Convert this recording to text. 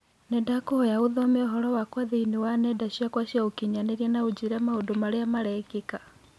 Nĩndakũhoya ũthome ũhoro wakwa thĩinĩ wa wa nenda ciakwa cia ũkĩnyaniria na ũnjĩĩre maũndũ marĩa marekĩka.